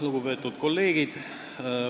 Lugupeetud kolleegid!